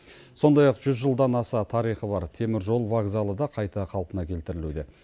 сондай ақ жүз жылдан аса тарихы бар теміржол вокзалы да қайта қалпына келтірілуде